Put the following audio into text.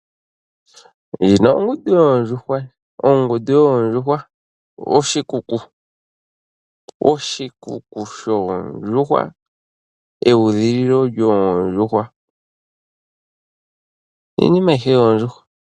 Ndjino ongundu yoondjuhwa, oshikuku shoondjuhwa, eudhililo lyoondjuhwa iinima ayihe yoondjuhwa